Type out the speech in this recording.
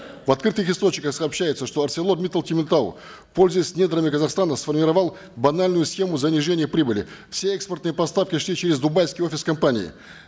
в открытых источниках сообщается что арселор миттал темиртау пользуясь недрами казахстана сформировал банальную схему занижения прибыли все эскпортные поставки все через дубайский офис компании